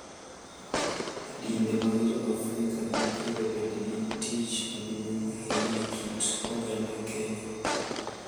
Dinde mag Joafrika mapile bende nigi tich maduong’ ahinya e kit oganda Kenya,